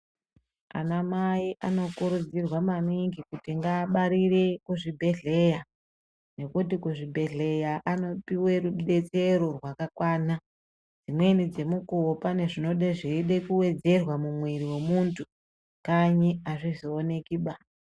Ana mai anokurudzirwa maningi kuti ngaabarire kuzvibhedhlera nekuti kuzvibhedhlera anopiwe rubetsero rwakakwana dzimweni dzemukuwo pane zvinode zveide kuwedzerwa mumwiri wemuntu kanyi azvizooneki baa.